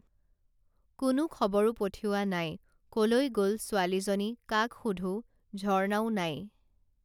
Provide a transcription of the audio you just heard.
কোনো খবৰো পঠিওৱা নাই কলৈ গল ছোৱালীজনী কাক সোধোঁ ঝৰ্ণাও নাই